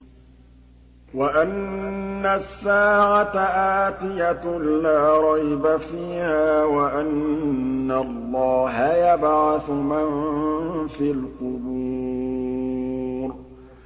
وَأَنَّ السَّاعَةَ آتِيَةٌ لَّا رَيْبَ فِيهَا وَأَنَّ اللَّهَ يَبْعَثُ مَن فِي الْقُبُورِ